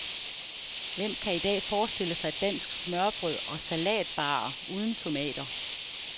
Hvem kan i dag forestille sig dansk smørrebrød og salatbarer uden tomater.